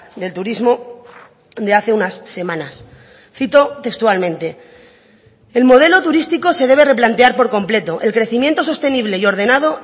del turismo de hace unas semanas cito textualmente el modelo turístico se debe replantear por completo el crecimiento sostenible y ordenado